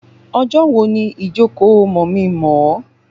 Ọjọ́ wo ni ìjókòó mọ̀mí-n-mọ̀-ọ́?